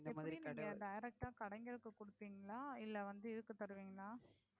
எப்படி நீங்க வந்து direct ஆஹ் கடைங்களுக்கு குடுப்பீங்களா இல்லை வந்து இதுக்கு தருவீர்களா?